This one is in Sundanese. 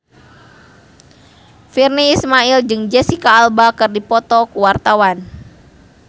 Virnie Ismail jeung Jesicca Alba keur dipoto ku wartawan